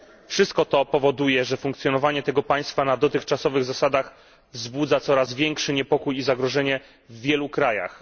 Wszystko to powoduje, że funkcjonowanie tego państwa na dotychczasowych zasadach wzbudza coraz większy niepokój i zagrożenie w wielu krajach.